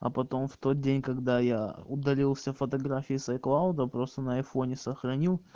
а потом в тот день когда я удалил все фотографии с айклауда просто на айфоне сохранил